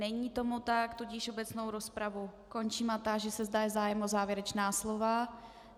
Není tomu tak, tudíž obecnou rozpravu končím a táži se, zda je zájem o závěrečná slova.